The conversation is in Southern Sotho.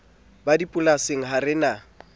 ba dipolasing ha re na